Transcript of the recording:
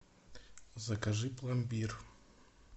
закажи пломбир